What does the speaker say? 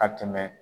A tɛmɛ